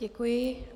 Děkuji.